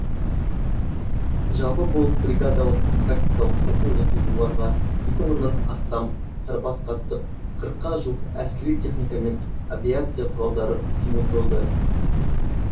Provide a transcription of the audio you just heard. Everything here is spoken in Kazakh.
жалпы бұл бригадалық тактикалық оқу жаттығуларға екі мыңнан астам сарбаз қатысып қырыққа жуық әскери техника мен авиация құралдары жұмылдырылды